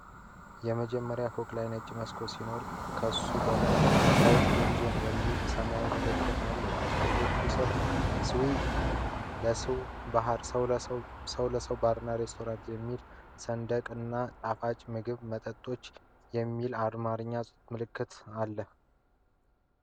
የመጀመርያው ፎቅ ላይ ነጭ መስኮቶች ሲኖሩ ከሱ በላይ "BRIGHT GAME ZONE" የሚል ሰማያዊ ምልክት አለው። በመስኮቶቹ ሥር "SEW LESEW BAR & RESTORANT" የሚል ሰንደቅ እና "ጣፋጭ ምግቦችና መጠጦች" የሚል የአማርኛ ምልክት አሉ።